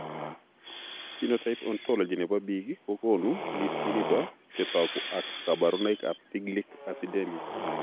phenotype ontology nebo biik kokoonu listini bo chetogu ak kaborunoik ab Tiglic acidemia